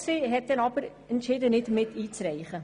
Sie hat dann aber entschieden, nicht miteinzureichen.